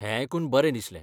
हें आयकून बरें दिसलें.